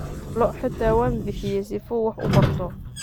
Lo'o xita wanbixiye sifuu wax ubarto.